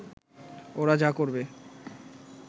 ওরা যা করবে